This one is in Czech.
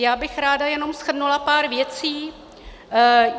Já bych ráda jenom shrnula pár věcí.